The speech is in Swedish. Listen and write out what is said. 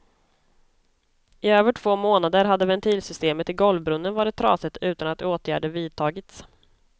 I över två månader hade ventilsystemet i golvbrunnen varit trasigt utan att åtgärder vidtagits.